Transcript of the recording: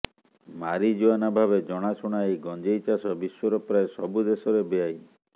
marijuana ଭାବେ ଜଣାଶୁଣା ଏହି ଗଞ୍ଜେଇ ଚାଷ ବିଶ୍ବର ପ୍ରାୟ ସବୁ ଦେଶରେ ବେଆଇନ